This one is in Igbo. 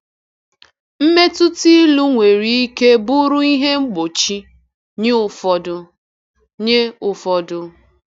Mmetụta ilu nwere ike bụrụ ihe mgbochi nye ụfọdụ. nye ụfọdụ.